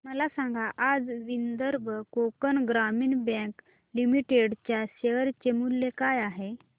मला सांगा आज विदर्भ कोकण ग्रामीण बँक लिमिटेड च्या शेअर चे मूल्य काय आहे